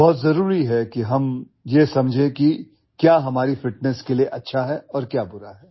बहुत जरूरी है कि हम यह समझे कि क्या हमारी फिटनेस के लिए अच्छा है और क्या बुरा है